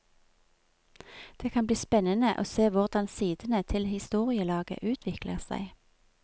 Det skal bli spennende å se hvordan sidene til historielaget utvikler seg.